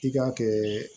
I k'a kɛ